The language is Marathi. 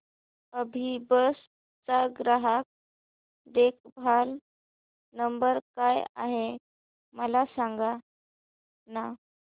अभिबस चा ग्राहक देखभाल नंबर काय आहे मला सांगाना